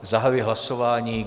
Zahajuji hlasování.